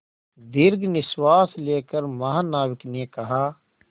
दीर्घ निश्वास लेकर महानाविक ने कहा